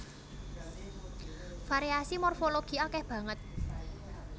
Variasi morfologi akèh banget